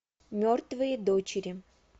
мертвые дочери